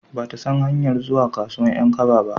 Ba ta san hanyar zuwa kasuwan 'yan kaba ba